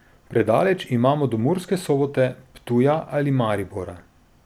Predaleč imamo do Murske Sobote, Ptuja ali Maribora!